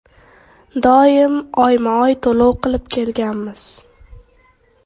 Doim oyma-oy to‘lov qilib kelganmiz.